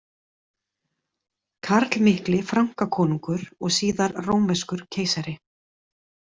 Karl mikli Frankakonungur og síðar rómverskur keisari.